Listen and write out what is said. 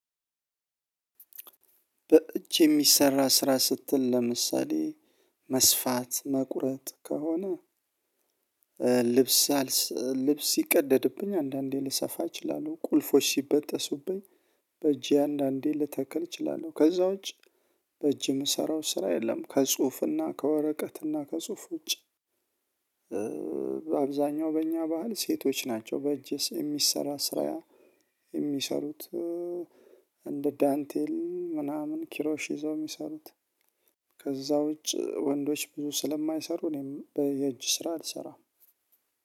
በእጅ የሚሰራ ስራ ስትል ለምሳሌ መስፋት መቁረጥ ከሆነ ልብስ ልብስ ሲቀደድብኝ አንዳንዴ ልሰፋ እችላለሁ ቁልፎች ሲበጠሱብኝ በእጄ አንዳንዴ ልተክል እችላለሁ። ከዛ ውጪ በእጅ የምሰራው ስራ የለም። ከጽሁፍና ከወረቀትና ከጽሁፍ ውጪ በአብዛኛው በእኛ ባህል ሴቶች ናቸው። በእጅ የሚሰራ ስራ የሚሰሩት እንደ ዳንቴል ምናምን ኪሮሽ ይዘው የሚሰሩት ከዛ ውጪ ወንዶች ብዙ ስለማይሰሩ እኔም በ የእጅ ስራ አልሰራም።